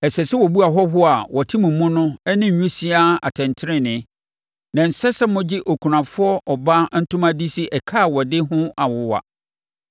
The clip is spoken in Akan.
Ɛsɛ sɛ wɔbu ahɔhoɔ a wɔte mo mu no ne nwisiaa atɛntenenee, na ɛnsɛ sɛ mogye okunafoɔ ɔbaa ntoma de si ɛka a ɔde ho awowa.